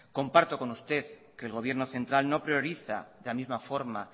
comparto con usted que el gobierno central no prioriza de la misma forma